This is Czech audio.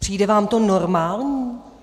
Přijde vám to normální?